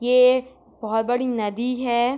ये एक बहुत बड़ी एक नदी है।